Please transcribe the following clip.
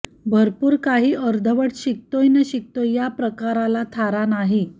भरपूर काही अर्धवट शिकतोय न शिकतोय या प्रकाराला थारा नाही